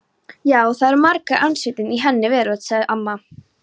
Já, það er margur ansvítinn í henni veröld sagði amma.